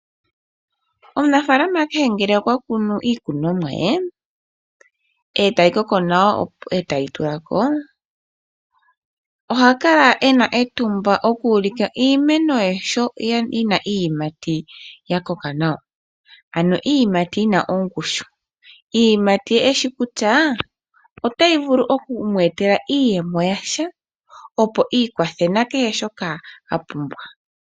Omunafalama kehe ngele okwa kunu iikunomwa ye etayi koko nawa etayi tulako, oha kala ena etumba oku ulika iimeno ye sho yina iiyimati ya koka nawa. Ano iiyimati yina ongushu. Iiyimati eshi kutya otayi vulu oku mu etela iiyemo yasha opo ikwathe nakehe shoka a pumbwa.